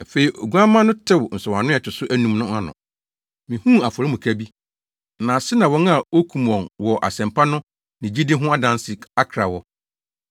Afei Oguamma no tew nsɔwano a ɛto so anum no ano. Mihuu afɔremuka bi, na ase na wɔn a wokum wɔn wɔ asɛmpa no ne gyidi no ho adansedi akra wɔ.